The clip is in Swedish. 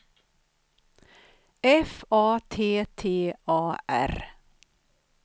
F A T T A R